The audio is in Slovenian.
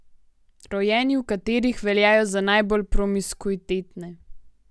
Rojeni v katerih veljajo za najbolj promiskuitetne?